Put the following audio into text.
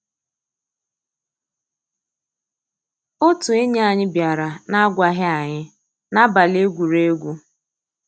Ótú ényí ànyị́ biàrà n'àgwàghị́ ànyị́ n'àbàlí égwùrégwù.